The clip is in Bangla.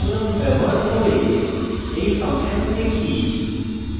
এখন একটি সহজ program ব্যবহার করে এই ফাংশন দেখি